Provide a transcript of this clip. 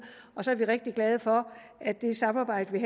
så er vi rigtig glade for at det samarbejde vi